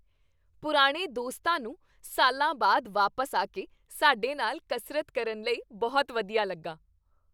ਪੁਰਾਣੇ ਦੋਸਤਾਂ ਨੂੰ ਸਾਲਾਂ ਬਾਅਦ ਵਾਪਸ ਆ ਕੇ ਸਾਡੇ ਨਾਲ ਕਸਰਤ ਕਰਨ ਲਈ ਬਹੁਤ ਵਧੀਆ ਲੱਗਾ।